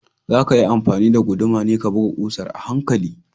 Zakayi amfani da guduma ne ka buga ƙusar a hankali